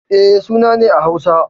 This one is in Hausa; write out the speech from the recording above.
E, suna ne a Hausa.